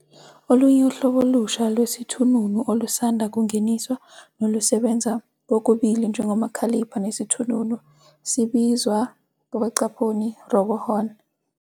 Olunye uhlobo olusha lwesithununu olusanda kungeniswa nolusebenza kokubili njengoMakhalipha nesithununu sibizwa "RoboHon".